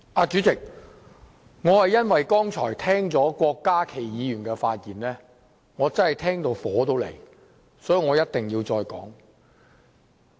主席，剛才聽到郭家麒議員的發言，我真感到怒火中燒，所以我一定要再次發言。